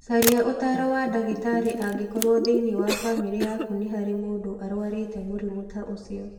Caria Ũtaaro wa ndagĩtarĩ angĩkorũo thĩinĩ wa bamĩrĩ yaku nĩ harĩ mũndũ ũrũarĩte mũrimũ ta ũcio.